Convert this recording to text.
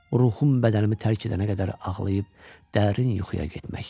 Ruhum bədənimi tərk edənə qədər ağlayıb dərin yuxuya getmək.